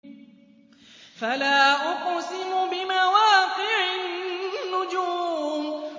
۞ فَلَا أُقْسِمُ بِمَوَاقِعِ النُّجُومِ